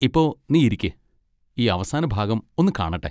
ഇപ്പൊ നീ ഇരിക്ക്, ഈ അവസാന ഭാഗം ഒന്ന് കാണട്ടെ.